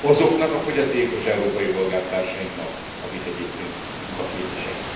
Azoknak a fogyatékos európai polgártársainknak, akik egyébként munkaképesek.